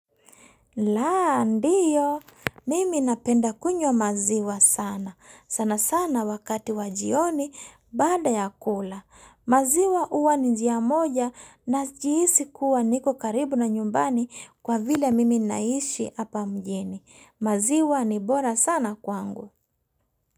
Laa ndiyo, mimi napenda kunywa maziwa sana. Sana sana wakati wa jioni bada ya kula. Maziwa huwa ni njia moja na najihisi kuwa niko karibu na nyumbani kwa vile mimi naishi hapa mjini. Maziwa ni bora sana kwangu.